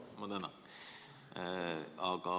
Ma tänan!